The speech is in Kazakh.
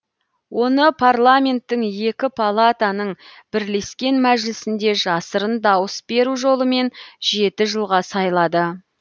оны парламенттің екі палатаның бірлескен мәжілісінде жасырын дауыс беру жолымен жеті жылға сайлады